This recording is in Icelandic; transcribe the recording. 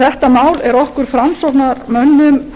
þetta mál er okkur framsóknarmönnum